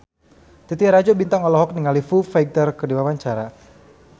Titi Rajo Bintang olohok ningali Foo Fighter keur diwawancara